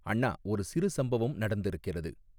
அண்ணா ஒரு சிறு சம்பவம் நடந்திருக்கிறது.